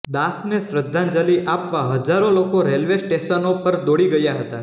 દાસને શ્રદ્ધાંજલિ આપવા હજારો લોકો રેલ્વે સ્ટેશનો પર દોડી ગયા હતા